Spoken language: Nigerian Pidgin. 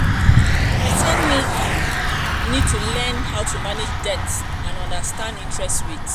person need to learn how um to manage debt and understand interest rates